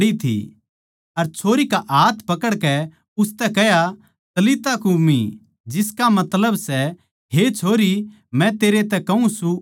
अर छोरी का हाथ पकड़कै उसतै कह्या तलिता कूमी जिसका मतलब सै हे छोरी मै तेरै तै कहूँ सूं उठ